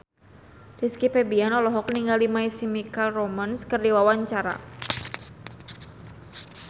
Rizky Febian olohok ningali My Chemical Romance keur diwawancara